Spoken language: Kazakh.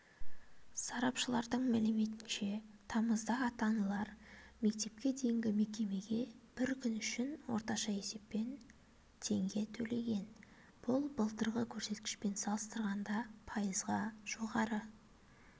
сарапшыларының мәліметінше тамызда ата-аналар мектепке дейінгі мекемеге бір күн үшін орташа есеппен теңге төлеген бұл былтырғы көрсеткішпен салыстырғанда пайызға жоғары